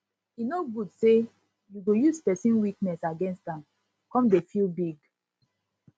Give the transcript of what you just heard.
e no good say you go use pesin weakness against am come dey feel big